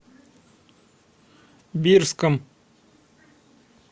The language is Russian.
бирском